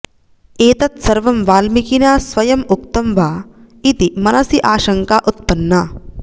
एतत् सर्वं वाल्मीकिना स्वयम् उक्तं वा इति मनसि आशङ्का उत्पन्ना